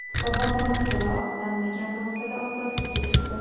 Bobomurod to‘la oqlanmagan bo‘lsa-da, ozodlikka chiqdi.